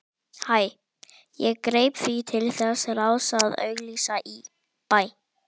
Ég greip því til þess ráðs að auglýsa í